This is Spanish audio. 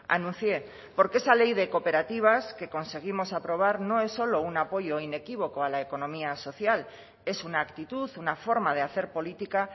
anuncié porque esa ley de cooperativas que conseguimos aprobar no es solo un apoyo inequívoco a la economía social es una actitud una forma de hacer política